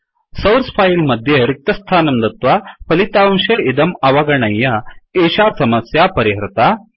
source file मध्ये रिक्तस्थानं दत्वा फलितांशे इदम् अवगणय्य एषा समस्या परिहृता